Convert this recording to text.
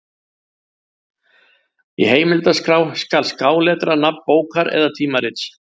Í heimildaskrá skal skáletra nafn bókar eða tímarits.